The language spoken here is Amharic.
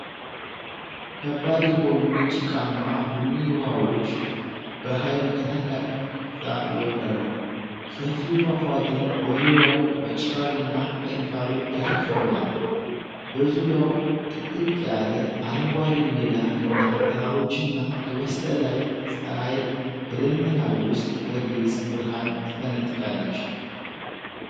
ከባድ የሆኑ የጭቃማ ቡኒ ውሃዎች በኃይል ከታላቅ ከፍታ ይወርዳሉ። ሰፊው ፏፏቴ በዙሪያው በጭጋግና በእንፋሎት ተሸፍኗል። በዙሪያው ጥቅጥቅ ያለ አረንጓዴ ሜዳ እና ተራሮችና ከበስተላይ ፀሐይ ከደመና ውስጥ በግልጽ ብርሃን ትፈነጥቃለች።